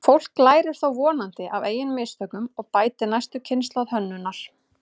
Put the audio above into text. Fólk lærir þó vonandi af eigin mistökum og bætir næstu kynslóð hönnunar.